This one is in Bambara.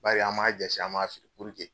Bari an m'a jase, an m'a siri